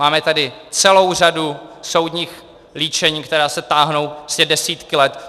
Máme tady celou řadu soudních líčení, která se táhnou desítky let.